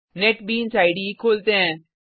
NetBeans IDE खोलते हैं